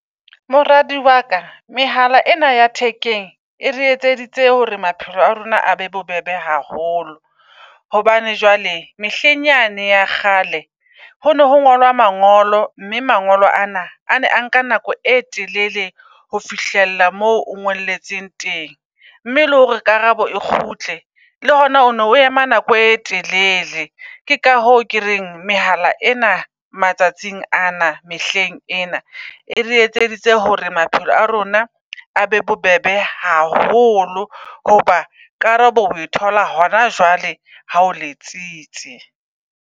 Moradi waka mehala ena ya thekeng e re etseditse hore maphelo a rona a be bobebe haholo. Hobane jwale mehleng yane ya kgale ho ne ho ngolwa mangolo, mme mangolo ana a ne a nka nako e telele ho fihlella moo o ngolletseng teng. Mme le hore karabo e kgutle le hona o no o ema nako e telele. Ke ka hoo ke reng mehala ena matsatsing ana mehleng ena e re etseditse hore maphelo a rona a be bobebe haholo. Hoba karabo oe thola hona jwale ha o letsitse.